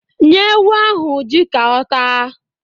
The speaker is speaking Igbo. Nye ewu ahụ ji ka ọ taa